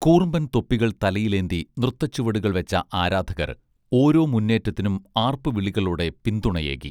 കൂർമ്പൻ തൊപ്പികൾ തലയിലേന്തി നൃത്തചുവടുകൾ വെച്ച ആരാധകർ ഓരോ മുന്നേറ്റത്തിനും ആർപ്പുവിളികളോടെ പിന്തുണയേകി